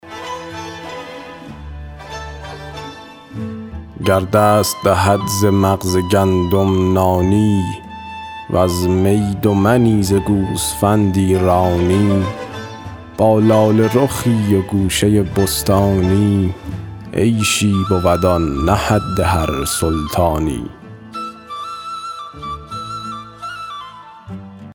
گر دست دهد ز مغز گندم نانی وز می دو منی ز گوسفندی رانی با لاله رخی و گوشه بستانی عیشی بود آن نه حد هر سلطانی